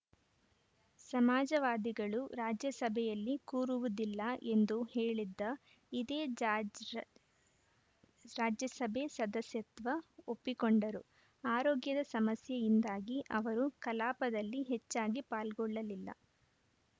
ಸಮಾಜವಾದಿಗಳು ರಾಜ್ಯಸಭೆಯಲ್ಲಿ ಕೂರುವುದಿಲ್ಲ ಎಂದು ಹೇಳಿದ್ದ ಇದೇ ಜಾಜ್ರ ರಾಜ್ಯಸಭೆ ಸದಸ್ಯತ್ವ ಒಪ್ಪಿಕೊಂಡರು ಆರೋಗ್ಯದ ಸಮಸ್ಯೆಯಿಂದಾಗಿ ಅವರು ಕಲಾಪದಲ್ಲಿ ಹೆಚ್ಚಾಗಿ ಪಾಲ್ಗೊಳ್ಳಲಿಲ್ಲ